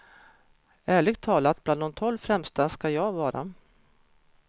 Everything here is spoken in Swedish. Ärligt talat, bland de tolv främsta ska jag vara.